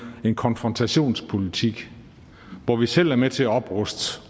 er en konfrontationspolitik hvor vi selv er med til at opruste